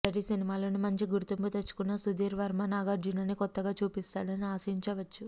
మొదటి సినిమాతోనే మంచి గుర్తింపు తెచ్చుకున్న సుధీర్ వర్మ నాగార్జునని కొత్తగా చూపిస్తాడని ఆశించవచ్చు